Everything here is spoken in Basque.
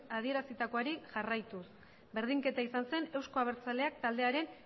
adierazitakoari jarraituz berdinketa izan zen euzko abertzaleak taldearen